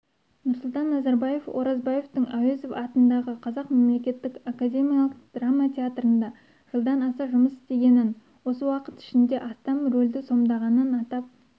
нұрсұлтан назарбаев оразбаевтың әуезов атындағы қазақ мемлекеттік академиялық драма театрында жылдан аса жұмыс істегенін осы уақыт ішінде астам рөлді сомдағанын атап